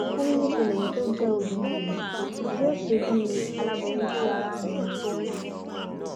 wọn ní níṣe lèyí tó jẹ obìnrin yìí yóò ṣe bíi aláboyún ti ara ni ni